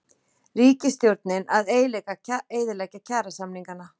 Ríkisstjórnin að eyðileggja kjarasamningana